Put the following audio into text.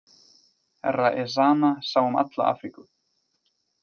Herra Ezana sá um alla Afríku.